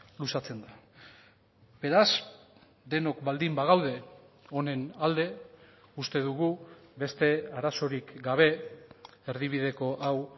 luzatzen da beraz denok baldin bagaude honen alde uste dugu beste arazorik gabe erdibideko hau